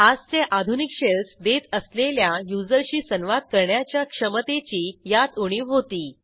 आजचे आधुनिक शेल्स देत असलेल्या युजरशी संवाद करण्याच्या क्षमतेची यात उणीव होती